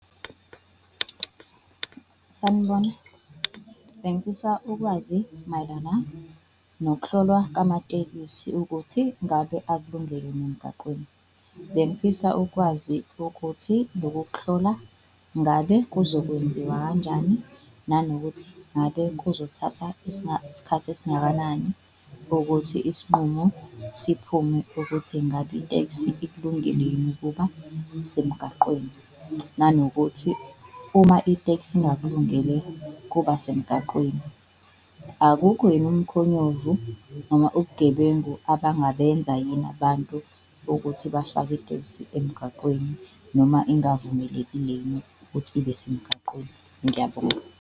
Sanibona, bengifisa ukwazi mayelana nokuhlolwa kamatekisi ukuthi ngabe akulungele emgaqweni. Bengifisa ukwazi ukuthi loku kuhlola ngabe kuzokwenziwa kanjani, nanokuthi ngabe kuzothatha isikhathi esingakanani ukuthi isinqumo siphume ukuthi ngabe iteksi ikulungele yini ukuba semgaqweni? Nanokuthi uma iteksi ingakulungele kuba semgaqweni akukho yini umkhonyovu noma ubugebengu abangabenza yini abantu bokuthi bahlale itekisi emgaqweni noma engavumelekile yini ukuthi ibe semgaqweni? Ngiyabonga.